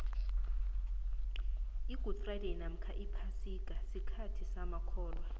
igudi frayideyi namkha iphasika sikhathi samakholwa